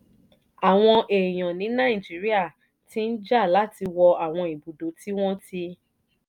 àwọn èèyàn ní nàìjíríà ti ń jà láti wọ àwọn ibùdó tí wọ́n ti